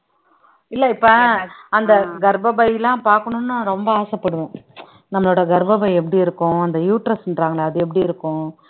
இல்ல இப்ப அந்த கர்ப்பப்பை எல்லாம் பாக்கணும்னு நான் ரொம்ப ஆசைப்படுவோம் நம்மளோட கர்ப்பப்பை எப்படி இருக்கும் அந்த uterus ன்றாங்களே அது எப்படி இருக்கும்